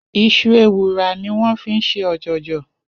Is̩u ewùrà ni wó̩n fi ń s̩e ò̩jò̩jò̩